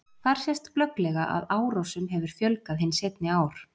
Þar sést glögglega að árásum hefur fjölgað hin seinni ár.